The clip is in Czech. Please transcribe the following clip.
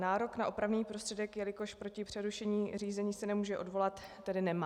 Nárok na opravný prostředek, jelikož proti přerušení řízení se nemůže odvolat, tedy nemá.